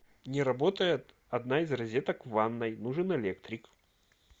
не работает одна из розеток в ванной нужен электрик